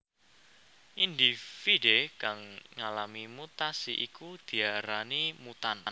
Indhividhé kang ngalami mutasi iku diarani mutan